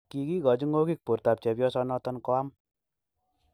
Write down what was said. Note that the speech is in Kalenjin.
kigigochi ng'ogik bortab chepyosanoton koam.